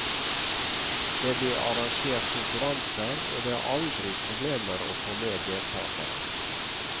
Det blir arrangert konkurranser, og det er aldri problemer å få med deltakere.